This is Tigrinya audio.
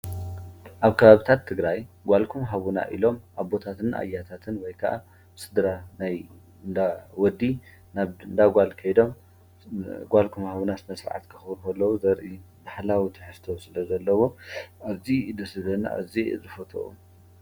ኣብ ከባብታ ትግራይ ጓልኹም ሃቡና ኢሎም ኣቦታትን ኣያታትን ወይ ከኣ ስድራ ናይ እንዳ ወዲ ናብ እንዳ ጓል ከይዶም ጓልኹም ሃቡና ስነ ስርዓት ከኽብር ከለው ዘርኢ ባህላዊ ትሕዝቶ ስለ ዘለዎ ኣዝዩ እዩ ደስ ዝብለኒ ኣዝየ እየ ዝፈትዎ።